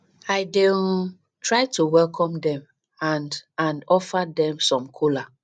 i dey um try to welcome dem and and offer dem some kola